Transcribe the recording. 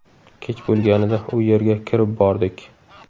Kech bo‘lganida u yerga kirib bordik.